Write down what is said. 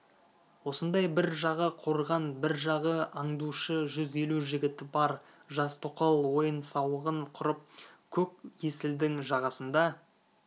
осындай бір жағы қорған бір жағы аңдушы жүз елу жігіті бар жас тоқал ойын-сауығын құрып көк есілдің жағасында